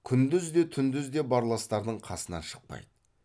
күндіз де түндіз де барластардың қасынан шықпайды